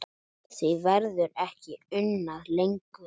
Því verður ekki unað lengur.